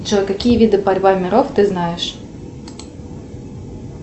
джой какие виды борьба миров ты знаешь